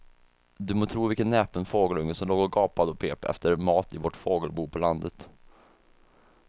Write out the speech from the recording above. Du må tro vilken näpen fågelunge som låg och gapade och pep efter mat i vårt fågelbo på landet.